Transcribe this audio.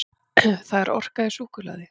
Það er orka í súkkulaði.